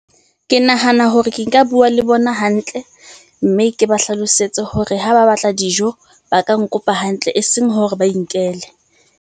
Ke nahana hore ke nka bua le bona hantle mme ke ba hlalosetse hore ha ba batla dijo, ba ka nkopa hantle eseng hore ba inkele.